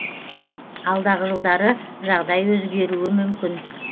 алдағы жылдары жағдай өзгеруі мүмкін